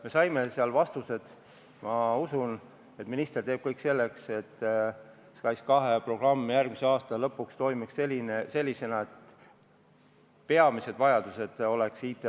Me saime seal vastuseid ja ma usun, et minister teeb kõik selleks, et SKAIS2 programm järgmise aasta lõpuks toimiks ja peamised vajadused sotsiaalvaldkonna IT-lahendustes saaksid tehtud.